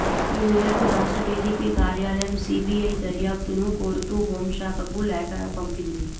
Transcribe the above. ఈ మేరకు రాష్ట్ర డీజీపీ కార్యాలయం సీబీఐ దర్యాప్తును కోరుతూ హోం శాఖకు లేఖ పంపింది